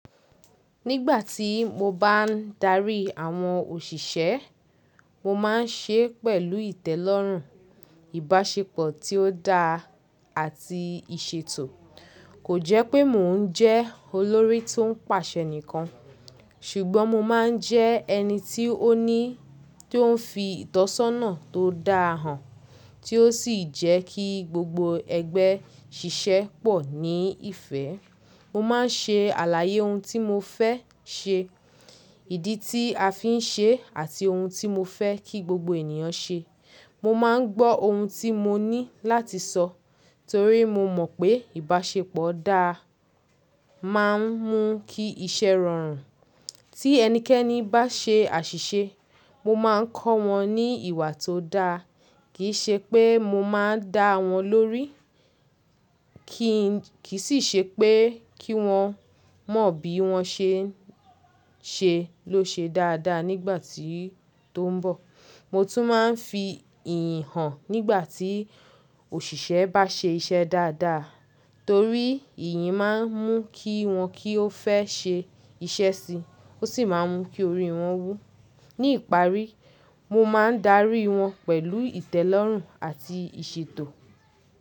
Nígbà tí mo bá ń darí i àwọn òṣìṣẹ́, mo máa ń ṣe é pẹ̀lú ìtẹ́lọ́rùn, ìbáṣepọ̀ tí ó dáa àti ìṣètò. Kò jẹ́ pé mò ń jẹ́ olórí tó ń pàṣẹ nìkan, ṣùgbọ́n mo máa ń jẹ́ ẹni tí ó ní, tó ń fi ìtọ́sọ́nà tó da hàn, tí ó sì jẹ́ kí gbogbo ẹgbẹ́ ṣiṣẹ́ pọ̀ ní ìfẹ́. Mo máa ń ṣe àlàyé ohun tí mo fẹ́ ṣe, ìdí tí a fi ń ṣe é àti ohun tí mo fẹ́ kí gbogbo ènìyàn ṣe. Mo má ń gbọ́ ohun tí mo ní láti sọ, torí mo mọ̀ pé ìbáṣepọ̀ dáa má a ń mú kí iṣẹ́ rọrùn. Tí ẹnikẹ́ni bá ṣe àṣìṣe, mo máa ń kọ́ wọn ní ìwà tó dáa. Kì í ṣe pé mo máa ń dá wọn lórí, kì í sì ṣe pé kí wọ́n mọ̀ bí wọ́n ṣe ń ṣe ló ṣe dáadáa nígbà tí tó ń bọ̀. Mo tún máa ń fi ìyìn hàn nígbà tí òṣìṣẹ́ bá ṣe iṣẹ́ dáadáa, torí ìyìn má ń mú kí wọn kí ó fẹ́ ṣe iṣẹ́ si, ó sì má ń mú kí orí wọn wú. Ní ìparí, mo má a ń darí i wọn pẹ̀lú ìtẹ́lọ́rùn àti ìṣètò.